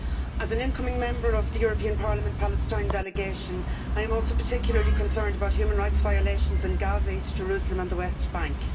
As an incoming Member of the European Parliament's Palestine Delegation, I am also particularly concerned about human rights violations in Gaza, East Jerusalem and the West Bank.